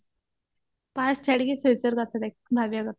past ଛାଡିକି future କଥା ଭା ଦେଖିବା କଥା